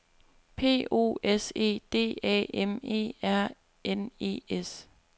P O S E D A M E R N E S